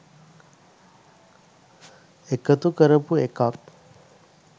එකතු කරපු එකක්.